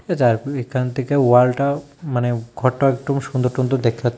এখান থেকে ওয়ালটাও মানে ঘরটাও একটু সুন্দর টুন্দর দেখাচ্ছ--